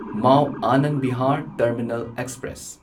Mao Anand Vihar terminal express